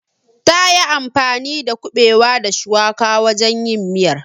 Tayi anfani da kuɓewa da shuwaka wajen yin miyar.